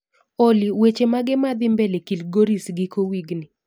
Olly, weche mage madhii mbele kilgoris giko wigni?